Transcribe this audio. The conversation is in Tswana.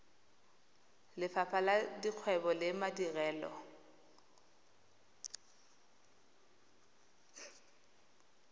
lefapha la dikgwebo le madirelo